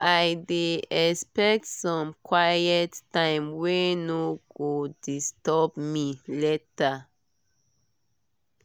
i dey expect some quiet time wey no go disturb me later.